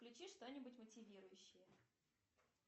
включи что нибудь мотивирующее